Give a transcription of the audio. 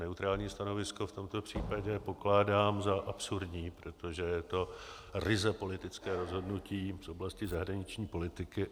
Neutrální stanovisko v tomto případě pokládám za absurdní, protože je to ryze politické rozhodnutí z oblasti zahraniční politiky.